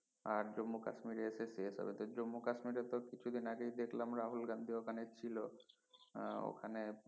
আর জম্মু কাশ্মীরে এসে শেষ হবে তো জম্মু কাশ্মীরে তো কিছু দিন আগে দেখলাম রাহুল গান্ধী ওখানে ছিলো আহ ওখানে